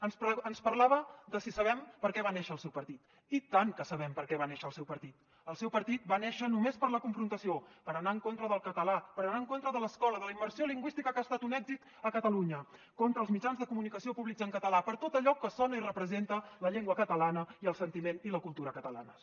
ens parlava de si sabem per què va néixer el seu partit i tant que sabem per què va néixer el seu partit el seu partit va néixer només per a la confrontació per anar en contra del català per anar en contra de l’escola de la immersió lingüística que ha estat un èxit a catalunya contra els mitjans de comunicació públics en català per tot allò que sona i representa la llengua catalana i el sentiment i la cultura catalanes